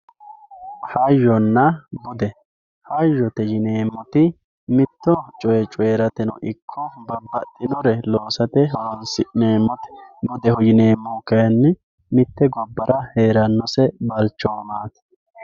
hayyonna bude hayyote yineemmoti mitto coye coyrateno ikko babbaxinore loosate horoonsi'nemmote budeho yineemmo kayinni mitte gobbara heerannose balchoomaati